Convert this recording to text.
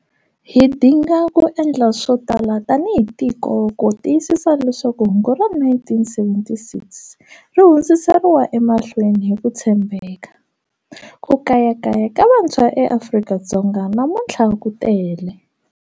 Hi dinga ku endla swo tala tanihi tiko ku tiyisisa leswaku hungu ra 1976 ri hundziseriwa emahlweni hi ku tshembeka. Ku kayakaya ka vantshwa eAfrika-Dzonga namuntlha ku tele.